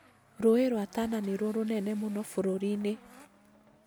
Rũũi rwa Tana nĩruo rũnene mũno bũrũri-inĩ